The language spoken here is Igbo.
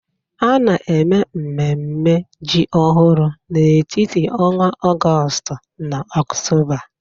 A na-eme mmemme ji ọhụrụ n'etiti ọnwa Ọgọst na Ọktoba.